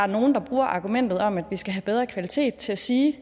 nogle bruger argumentet om at vi skal have bedre kvalitet til at sige